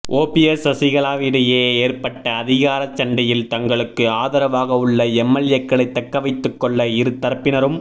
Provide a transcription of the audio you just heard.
OPS சசிகலாவிடையே ஏற்பட்ட அதிகார சண்டையில் தங்களுக்கு ஆதரவாக உள்ள எம்எல்ஏக்களை தக்க வைத்துக்கொள்ள இரு தரப்பினரும்